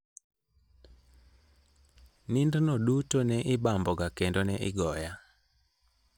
Nindno duto ne ibamboga kendo ne igoya.